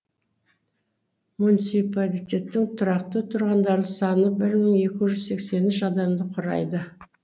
муниципалитеттің тұрақты тұрғындар саны бір мың екі жүз сексен үш адамды құрайды